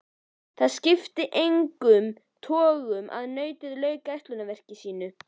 Það skipti engum togum að nautið lauk ætlunarverki sínu.